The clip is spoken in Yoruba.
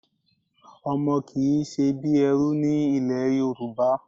Ọmọ kì í ṣe bí ẹrú ní ilẹ̀ Yorùbá.